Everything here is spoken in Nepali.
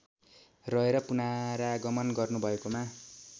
रहेर पुनरागमन गर्नुभएकोमा